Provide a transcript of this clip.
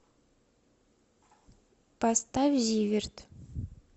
поставь зиверт